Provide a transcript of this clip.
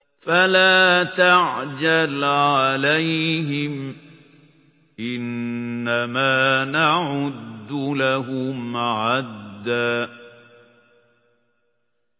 فَلَا تَعْجَلْ عَلَيْهِمْ ۖ إِنَّمَا نَعُدُّ لَهُمْ عَدًّا